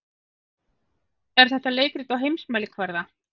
Er þetta leikrit á heimsmælikvarða?